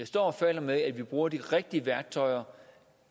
står og falder med at vi bruger de rigtige værktøjer